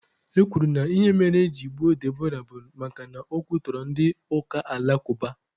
E kwuru na ihe mere eji gbuo Deborah bụ makana o kwutọrọ ndị ụka alakụba.